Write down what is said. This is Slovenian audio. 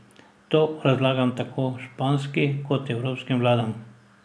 To razlagam tako španski kot evropskim vladam.